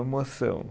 Emoção.